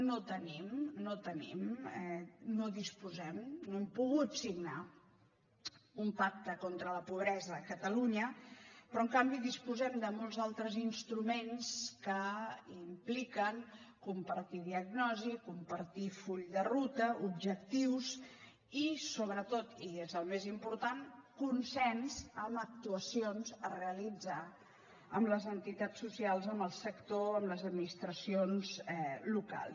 no el tenim no el tenim no en disposem no hem pogut signar un pacte contra la pobresa a catalunya però en canvi disposem de molts altres instruments que impliquen compartir diagnosi compartir full de ruta objectius i sobretot i és el més important consens amb actuacions a realitzar amb les entitats socials amb el sector amb les administracions locals